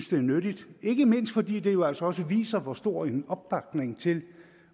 det er nyttigt ikke mindst fordi det jo altså også viser hvor stor en opbakning til